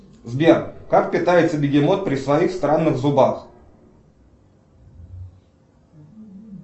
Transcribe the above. сбер как питается бегемот при своих странных зубах